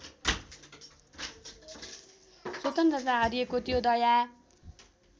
स्वतन्त्रता हरिएको त्यो दया